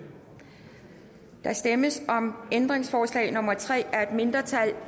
der stemmes om ændringsforslag nummer tre af et mindretal